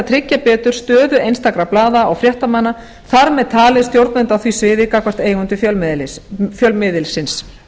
tryggja betur stöðu einstakra blaða og fréttamanna þar með talið stjórnenda á því sviði gagnvart eigendum fjölmiðilsins